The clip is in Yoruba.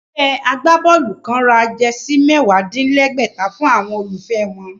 Ẹgbẹ́ agbábọ́ọ̀lù kán ra jẹsí mẹ́wàá-dín-lẹ́gbẹ̀ta fún àwọn olólùfẹ́ wọn